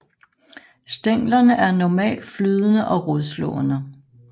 Stænglerne er normalt flydende og rodslående